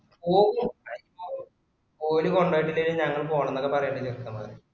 ഓക്ക് പ്രശ്നാ ഓല് കൊണ്ടോയ്റ്റിലെങ്കിലു ഞങ്ങള് പോണെന്നൊക്കെ പറയണ്ടേ ചെക്കന്മാര്